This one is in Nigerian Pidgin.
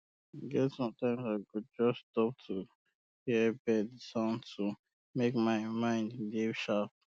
e get sometime i go just stop to hear bird sound to um make my mind um dey sharp